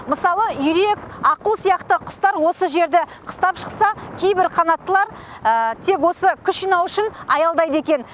мысалы үйрек аққу сияқты құстар осы жерді қыстап шықса кейбір қанаттылар тек осы күш жинау үшін осында аялдайды екен